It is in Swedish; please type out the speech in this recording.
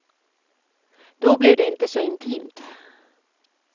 Då blev det inte så intimt.